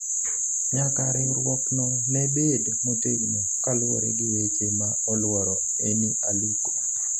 nyaka riwruok no ne bed motegno kaluwore gi weche ma oluoro Eni Aluko